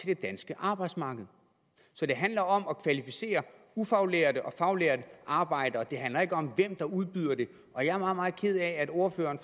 det danske arbejdsmarked så det handler om at kvalificere ufaglærte og faglærte arbejdere det handler ikke om hvem der udbyder det og jeg er meget meget ked af at ordføreren